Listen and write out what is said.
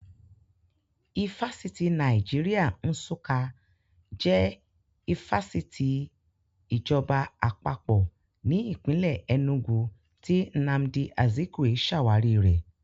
Ifásitì Nàìjíríà Nsukka jẹ́ ifásitì ìjọba Àpapọ̀ ní ìpínlè Ẹnúgu tí Nnamdi Azikwe ṣàwárí rẹ̀